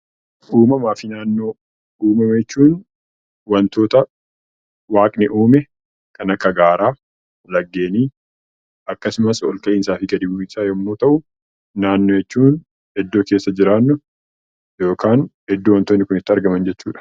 Uumamaa fi naannoo. Uumama jechuun waantota waaqni uume kan akka gaaraa, laggeenii akkasumas ol ka'iinsaa fi gad bu'iinsa yemmuu ta'u, naannoo jechuun iddoo keessa jiraannu yookaan iddoo waantonni itti argaman jechuudha.